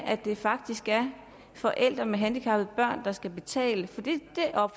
at det faktisk er forældre med handicappede børn der skal betale for det